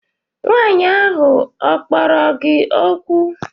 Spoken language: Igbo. Nwaanyi ahu okporo gi okwu?